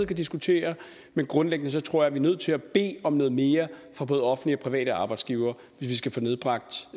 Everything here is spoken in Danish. kan diskutere men grundlæggende tror jeg er nødt til at bede om noget mere fra både offentlige og private arbejdsgivere hvis vi skal få nedbragt